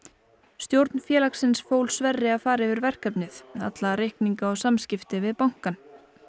stjórn félagsins fól Sverri að fara yfir verkefnið alla reikninga og samskipti við bankann